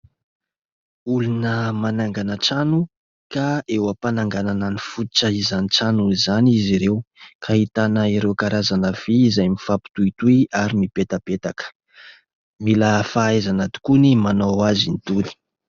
Olona manangana trano ka eo am-pananganana ny fototra izany trano izany izy ireo ka ahitana ireo karazana vy izay mifampitohitohy ary mipetapetaka, mila fahaizana tokoa ny manao azy itony.